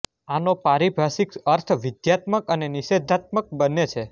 આનો પારિભાષિક અર્થ વિધ્યાત્મક અને નિષેધાત્મક બંને છે